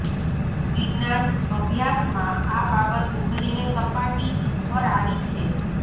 વિજ્ઞાન અભ્યાસમાં આ બાબત ઉભરીને સપાટી પર આવી છે